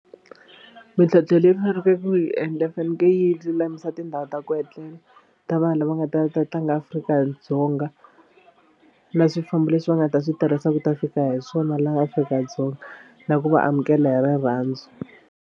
Mintlhontlho leyi va faneke ku yi endla yi fanekele yi lulamisa tindhawu ta ku etlela ta vanhu lava nga ta ta tlanga Afrika-Dzonga na swifambo leswi va nga ta swi tirhisa ku ta fika hi swona laha Afrika-Dzonga na ku va amukela hi rirhandzu.